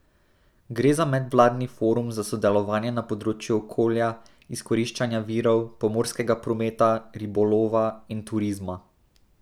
Gre za medvladni forum za sodelovanje na področju okolja, izkoriščanja virov, pomorskega prometa, ribolova in turizma.